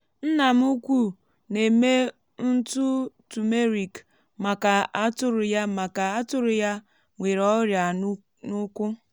nna m ukwu na-eme ntụ turmeric maka atụrụ ya maka atụrụ ya nwere ọrịa n’ụkwụ.